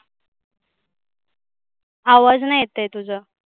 आवाज नाही येत आहे तुझा.